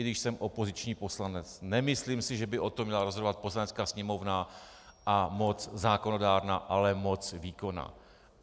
I když jsem opoziční poslanec, nemyslím si, že by o tom měla rozhodovat Poslanecká sněmovna a moc zákonodárná, ale moc výkonná.